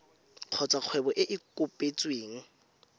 kgotsa kgwebo e e kopetsweng